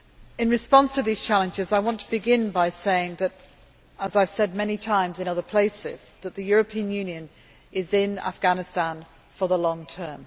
In response to these challenges I want to begin by saying, as I have said many times in other places, that the European Union is in Afghanistan for the long term.